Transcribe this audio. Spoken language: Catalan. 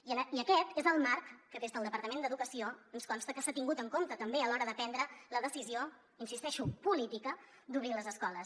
i aquest és el marc que des del departament d’educació ens consta que s’ha tingut en compte també a l’hora de prendre la decisió hi insisteixo política d’obrir les escoles